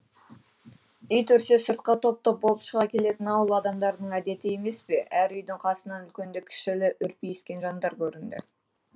ит үрсе сыртқа топ топ болып шыға келетін ауыл адамдарының әдеті емес пе әр үйдің қасынан үлкенді кішілі үрпиіскен жандар көрінді